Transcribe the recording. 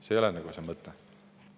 See ei ole asja mõte.